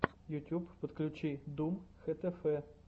ютьюб подключи дум хтф